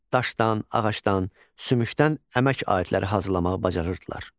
Daşdan, ağacdan, sümükdən əmək aidləri hazırlamağı bacarırdılar.